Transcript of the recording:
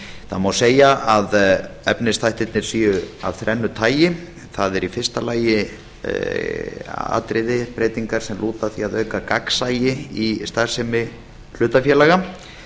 það má segja að efnisþættirnir séu af þrennu tagi það eru í fyrsta lagi atriði breytingar sem lúta að því að auka gagnsæi í starfsemi hlutafélaga